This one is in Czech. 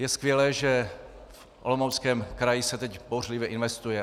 Je skvělé, že v Olomouckém kraji se teď bouřlivě investuje.